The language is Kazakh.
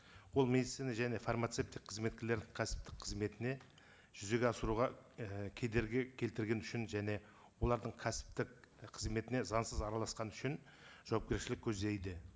ол медицина және фармацевтик қызметкерлер кәсіптік қызметіне жүзеге асыруға і кедергі келтіргені үшін және олардың кәсіптік қызметіне заңсыз араласқаны үшін жауапкершілік көздейді